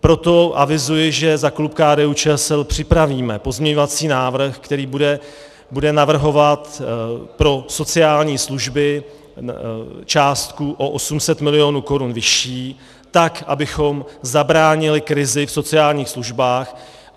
Proto avizuji, že za klub KDU-ČSL připravíme pozměňovací návrh, který bude navrhovat pro sociální služby částku o 800 milionů korun vyšší, tak abychom zabránili krizi v sociálních službách.